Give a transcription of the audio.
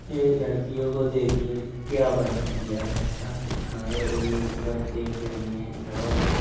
ये लड़कियों को देखिए क्या बना दिया हैं ऐसा जो थाड़े हो-होकर देख रही है और--